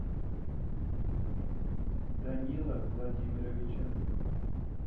данила владимировича